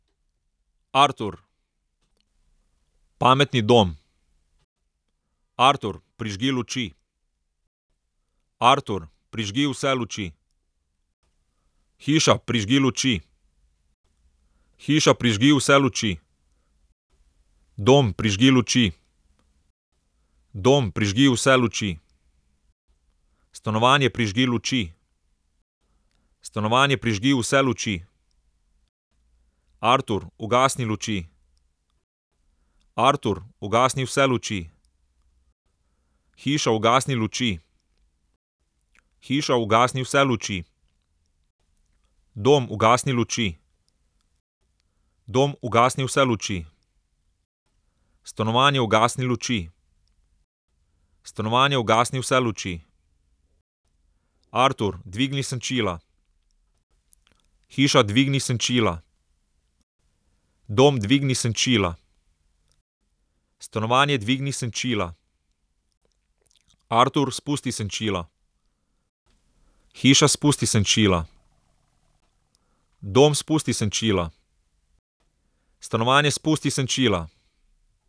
Artur. Pametni dom. Artur, prižgi luči. Artur, prižgi vse luči. Hiša, prižgi luči. Hiša, prižgi vse luči. Dom, prižgi luči. Dom, prižgi vse luči. Stanovanje, prižgi luči. Stanovanje, prižgi vse luči. Artur, ugasni luči. Artur, ugasni vse luči. Hiša, ugasni luči. Hiša, ugasni vse luči. Dom, ugasni luči. Dom, ugasni vse luči. Stanovanje, ugasni luči. Stanovanje, ugasni vse luči. Artur, dvigni senčila. Hiša, dvigni senčila. Dom, dvigni senčila. Stanovanje, dvigni senčila. Artur, spusti senčila. Hiša, spusti senčila. Dom, spusti senčila. Stanovanje, spusti senčila.